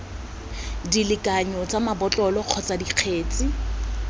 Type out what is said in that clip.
dilekanyo tsa mabotlolo kgotsa dikgetse